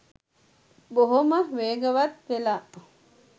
බොහොම වේගවත් වෙලා